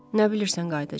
Nə bilirsən qayıdacaq?